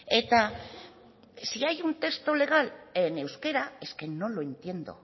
eta si hay un texto legal en euskera es que no lo entiendo